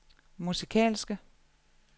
musikalske